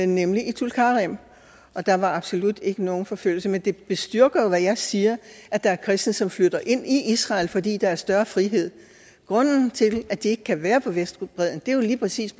nemlig i tulkarem og der var absolut ikke nogen forfølgelse men det bestyrker jo hvad jeg siger at der er kristne som flytter ind i israel fordi der er større frihed grunden til at de ikke kan være på vestbredden er jo lige præcis